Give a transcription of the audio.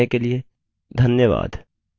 हमसे जुड़ने के लिए धन्यवाद